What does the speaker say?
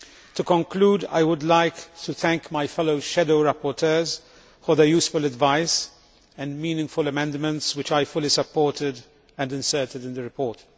To conclude, I would like to thank my fellow shadow rapporteurs for their useful advice and meaningful amendments, which I fully supported and inserted in the report.